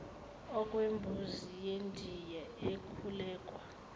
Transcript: okwembuzi yendiya ekhulekwa